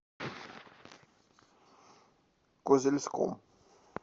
козельском